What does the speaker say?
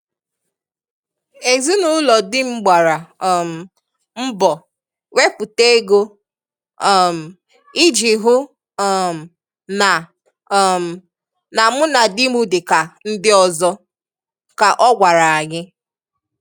"Ezinụlọ di m gbara um mbọ wepụta ego, um I ji hụ um na um na mụ na di m dị ka ndị ọzọ " ka ọ gwara anyị.